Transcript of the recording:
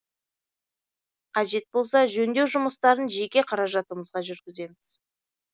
қажет болса жөндеу жұмыстарын жеке қаражатымызға жүргіземіз